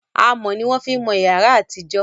amò ní wọn fí mọ yàrá àti ìjọ